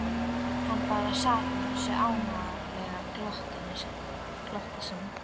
Hann bara sat með þessu ánalega glotti sínu.